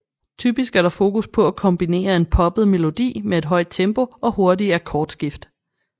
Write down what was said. Typisk er der fokus på at kombinere en poppet melodi med et høj tempo og hurtige akkordskift